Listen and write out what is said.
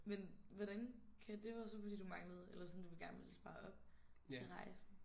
Men hvordan kan det var jo så fordi du manglede eller sådan du ville gerne ville spare op til rejsen